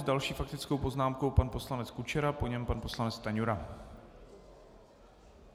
S další faktickou poznámkou pan poslanec Kučera, po něm pan poslanec Stanjura.